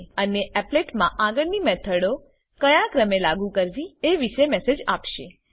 અને એપ્લેટ માં આગળની મેથડો ક્યાં ક્રમે લાગુ કરવી એ વિષે મેસેજ આપશે